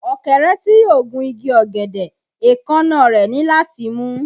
Ọ̀kẹ́rẹ́ tí yóò gun igi ọ̀gẹ̀dẹ̀, èékánná rẹ̀ ní láti mú